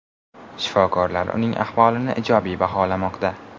Shifokorlar uning ahvolini ijobiy baholamoqda.